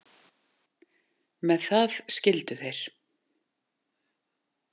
Með það skildu þeir.